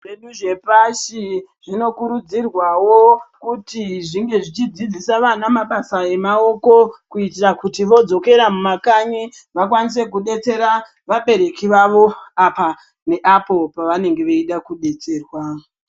Zvedu zvepashi zvinokurudzirwawo zvinenge zvichidzidzisa ana mabasa emaoko kuitira kuti vodzokera mumakanyi vakwanise kudetserera vabereki vavo apa neapo pavanenge veida kudetsererwa.